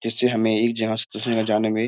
जिससे हमें एक जहाँ से दूसरे जहाँ जाने में --